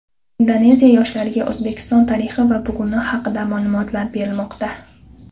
Indoneziya yoshlariga O‘zbekiston tarixi va buguni haqida ma’lumotlar berilmoqda.